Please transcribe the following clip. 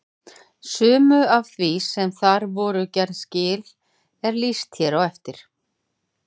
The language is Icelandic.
Sumu af því sem þar voru gerð skil er lýst hér á eftir.